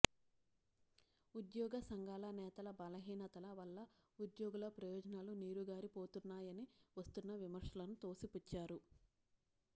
ఉద్యోగ సంఘాల నేతల బలహీనతల వల్ల ఉద్యోగుల ప్రయోజనాలు నీరుగారిపోతున్నాయని వస్తున్న విమర్శలను తోసిపుచ్చారు